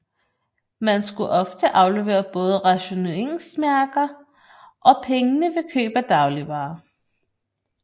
Man skulle ofte aflevere både rationeringsmærker og pengene ved køb af dagligvarer